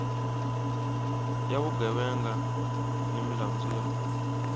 ya vugevenga ni milandzu ya